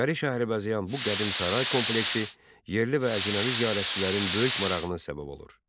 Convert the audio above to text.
İçəri şəhəri bəzəyən bu qədim saray kompleksi yerli və əcnəbi ziyarətçilərin böyük marağına səbəb olur.